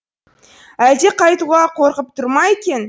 әлде қайтуға қорқып тұр ма екен